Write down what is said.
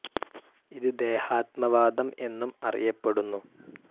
ഇത് ദേഹാത്മവാദം എന്നും അറിയപ്പെടുന്നു.